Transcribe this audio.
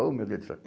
Oh meu Deus do céu